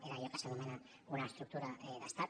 era allò que s’anomena una estructura d’estat